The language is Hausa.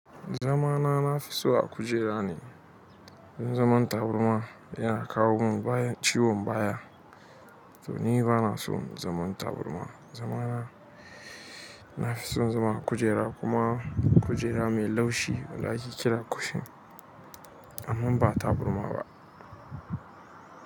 Zama na, na fi so a kujera ne. Tun zaman taburma yana kawo mun, bayan ciwon baya. To ni bana son zaman tabarma. Zama na, na fi son zama a kujera kuma kujera mai laushi wanda ake kira cushion. Amman ba tabarma ba.